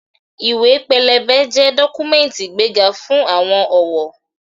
Ìwé-pélébé jẹ́ dọ́kúmẹ́ǹtì ìgbéga fún àwọn òwò